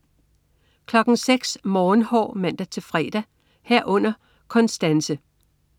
06.00 Morgenhår (man-fre) 06.00 Konstanse (man-fre)